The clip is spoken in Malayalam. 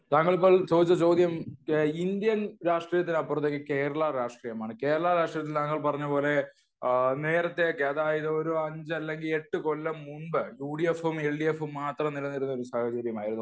താങ്കൾ ഇപ്പോൾ ചോദിച്ച ചോദ്യം ഇന്ത്യൻ രാഷ്ട്രീയത്തിനപ്പുറത്തേക്ക് കേരള രാഷ്ട്രീയമാണ് . കേരള രാഷ്ട്രീയത്തിൽ താങ്കൾ പറഞ്ഞത് പോലെ ആ നേരത്തെയൊക്കെ അതായത് ഒരു അഞ്ച് അല്ലെങ്കിൽ എട്ട് കൊല്ലം മുമ്പ് യു ഡി എഫ് ഉം എൽ ഡി എഫ് ഉം മാത്രം നിലനിന്നിരുന്ന സാഹചര്യം ആയിരുന്നു